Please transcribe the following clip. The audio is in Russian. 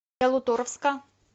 ялуторовска